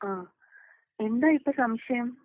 ആഹ്, എന്താ ഇപ്പൊ സംശയം?